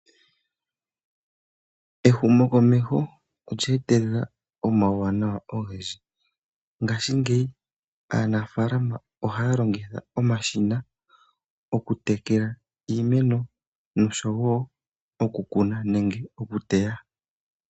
Ehumokomeho olye etelela omauwanawa ogendji. Ngashingeyi aanafaalama ohaya longitha omashina okutekela iimeno noshowo okukuna nenge okuteya.